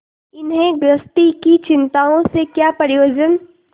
इन्हें गृहस्थी की चिंताओं से क्या प्रयोजन